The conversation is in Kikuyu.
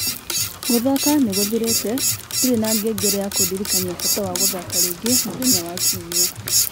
Gũthaka nĩ gũthirĩte. Ndirĩ na ngengere ya kundirikania bata wa gũthaka rĩngĩ mũthenya wa Kiumia.